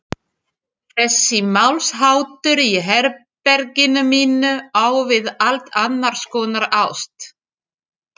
Þessi málsháttur í herberginu mínu á við allt annarskonar ást.